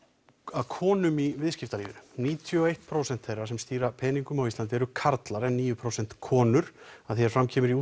að konum í viðskiptalífinu níutíu og eitt prósent þeirra sem stýra peningum á Íslandi eru karlar en níu prósent konur að því er fram kemur í